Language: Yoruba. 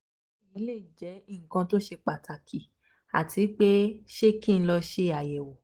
ṣe eyi le jẹ nkan to ṣe pataki ati pe ṣé ki n lọ ṣayẹwo?